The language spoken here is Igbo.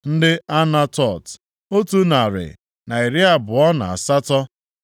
ndị Anatot, otu narị na iri abụọ na asatọ (128),